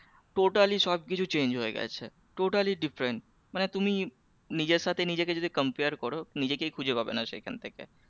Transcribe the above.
Totally সব কিছু change হয়ে গেছে totally different মানে তুমি নিজের সাথে নিজেকে যদি compare করো নিজেকেই খুঁজে পাবে না সেই খান থেকে